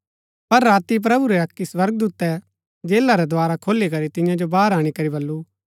पर राती प्रभु रै अक्की स्वर्गदूतै जेला रै द्धारा खोली करी तियां जो बाहर अणीकरी बल्लू